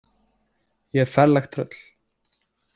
Ég er ferlegt tröll.